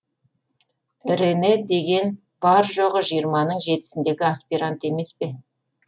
рене деген бар жоғы жиырманың жетісіндегі аспирант емес пе